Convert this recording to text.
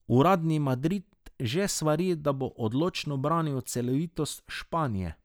Uradni Madrid že svari, da bo odločno branil celovitost Španije.